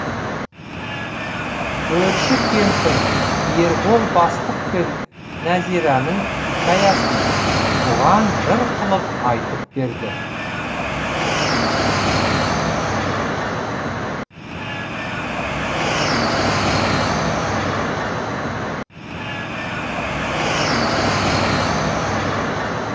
көрші кемпір ербол бастық пен нәзираның хикаясын бұған жыр қылып айтып берді